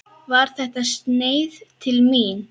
Var þetta sneið til mín?